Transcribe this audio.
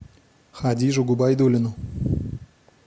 хадижу губайдуллину